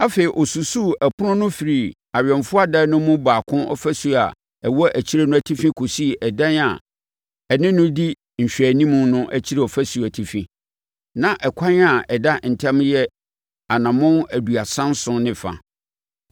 Afei ɔsusuu ɛpono no firi awɛmfoɔ adan no mu baako ɔfasuo a ɛwɔ akyire no atifi kɔsii ɛdan a ɛne no di nhwɛanim no akyire ɔfasuo atifi; na ɛkwan a ɛda ntam yɛ anammɔn aduasa nson ne fa.